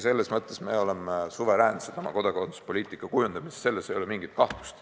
Selles mõttes me oleme suveräänsed oma kodakondsuspoliitika kujundamises, selles ei ole mingit kahtlust.